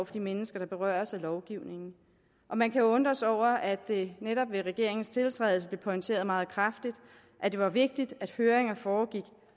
de mennesker der berøres af lovgivningen og man kan jo undre sig over at det netop ved regeringens tiltrædelse blev pointeret meget kraftigt at det var vigtigt at høringer foregik